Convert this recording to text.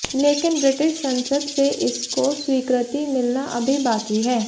लेकिन ब्रिटिश संसद से इसको स्वीकृति मिलना अभी बाकी है